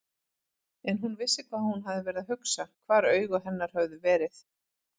En hún vissi hvað hún hafði verið að hugsa, hvar augu hennar höfðu verið.